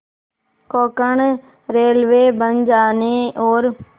Konkan railway बन जाने और